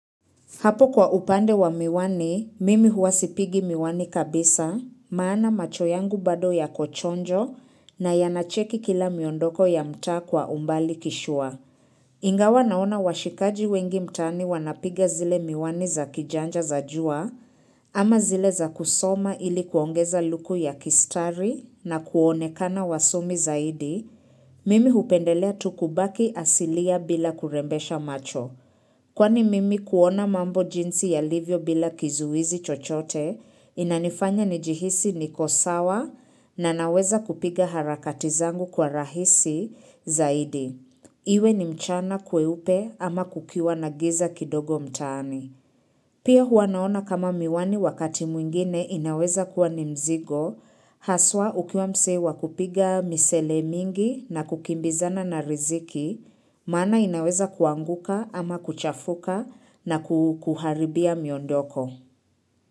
Hapo kwa upande wa miwani, mimi huwa sipigi miwani kabisa, maana macho yangu bado yako chonjo na yanacheki kila miondoko ya mtaa kwa umbali kishua. Ingawa naona washikaji wengi mtaani wanapiga zile miwani za kijanja za jua ama zile za kusoma ili kuongeza luku ya kistari na kuonekana wasomi zaidi, mimi hupendelea tu kubaki asilia bila kurembesha macho. Kwani mimi kuona mambo jinsi yalivyo bila kizuizi chochote, inanifanya nijihisi niko sawa na naweza kupiga harakati zangu kwa rahisi zaidi. Iwe ni mchana kweupe ama kukiwa na giza kidogo mtaani. Pia huwa naona kama miwani wakati mwingine inaweza kuwa ni mzigo, haswa ukiwa msee wa kupiga misele mingi na kukimbizana na riziki, maana inaweza kuanguka ama kuchafuka na kukuharibia miondoko.